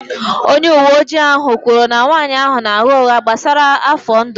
Onye uwe ojii ahụ kwuru na nwanyị ahụ na-agha ụgha gbasara afọ ndụ ya